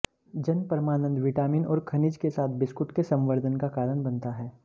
जन परमानंद विटामिन और खनिज के साथ बिस्कुट के संवर्धन का कारण बनता है